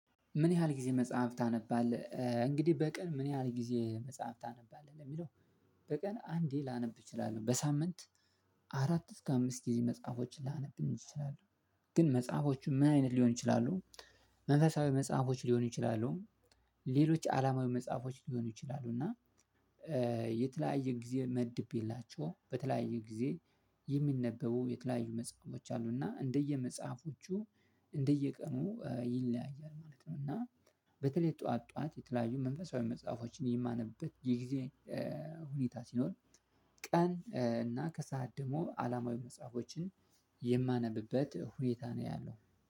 ምን ያህል ጊዜ መጽሐፍ ታነባለህ? እንግዲህ በቀን ምን ያህል ጊዜ መጽሐፍ ታነባለህ ለሚለው በቀን አንዴ ላነብ እችላለሁ። በሳምንት አራት እስከ አምስት ጊዜ መጽሐፎችን ላነብም እችላለሁ። ግን መጽሐፎቹ ምን አይነት ሊሆን ይችላሉ? መንፈሳዊ መጽሐፎች ሊሆኑ ይችላሉ። ሌሎች አለማዊ መጽሐፎች ሊሆኑ ይችላሉ። እና የተለያየ ጊዜ መድቤላቸው በተለያየ ጊዜ የሚነበቡ የተለያዩ መጽሐፎች አሉ። እና እንደየመጽሐፎቹ እንደየቀኑ ይለያያል ማለት ነው። እና በተለይ ጠዋት ጠዋት የተለያዩ መንፈሳዊ መጽሐፎችን የማነብበት ጊዜ ሁኔታ ሲኖር እና ከሰአት ደግሞ አለማዊ መጽሐፎችን የማነብበት ሁኔታ ነው ያለው።